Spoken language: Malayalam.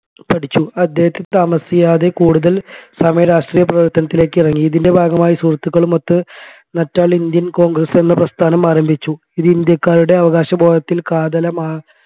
പഠിച്ചു അദ്ദേഹം താമസിയാതെ കൂടുതൽ സമയം രാഷ്ട്രീയ പ്രവർത്തനത്തില്ലെക് ഇറങ്ങി ഇതിൻെറ ഭാഗമായി സുഹൃത്തുക്കളുമൊത്തു നറ്റാൽ indian congress എന്ന പ്രസ്ഥാനം ആരംഭിച്ചു ഇത് ഇന്ത്യക്കാരുടെ അവകാശബോധത്തിൽ കാതലമായ